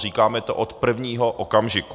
Říkáme to od prvního okamžiku.